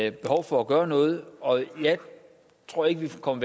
et behov for at gøre noget og jeg tror ikke vi kommer